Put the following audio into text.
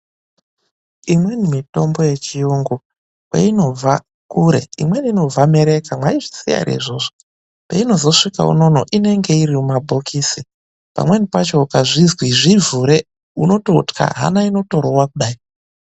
Imweni mitombo yechiyungu kweinobva kure imweni inobva mereka mwaizviziya ere izvozvo? Painozosvike unono inenge iri mumabhokisi, pamweni pacho ukazi zvivhure unototya hana inotorova kudai.